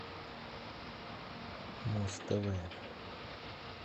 муз тв